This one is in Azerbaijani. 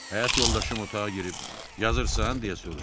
Həyat yoldaşım otağa girib "Yazırsan?" deyə soruşur.